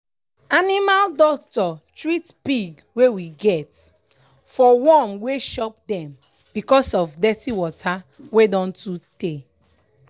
animal doctor treat pig wey we get for worm wey chop dem because of dirty water wey don too tey.